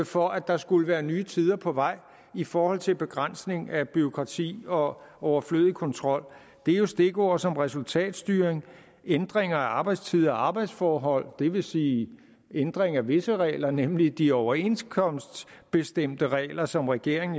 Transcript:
for at der skulle være nye tider på vej i forhold til begrænsning af bureaukrati og overflødig kontrol det er jo stikord som resultatstyring ændringer af arbejdstider og arbejdsforhold det vil sige ændring af visse regler nemlig de overenskomstbestemte regler som regeringen